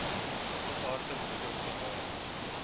aparte geskikte area